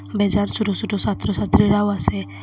বেজার সোট সোট সাত্র সাত্রীরাও আসে।